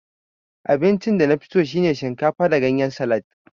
Abincin danafiso shine shinkafa da ganyen salad